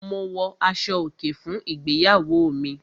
Mo wọ aṣọ-òkè fún ìgbéyàwó mi.